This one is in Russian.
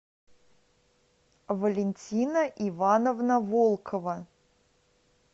валентина ивановна волкова